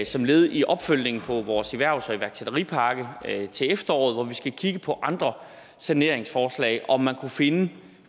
som led i opfølgningen på vores erhvervs og iværksætteripakke til efteråret hvor vi skal kigge på andre saneringsforslag om man kunne finde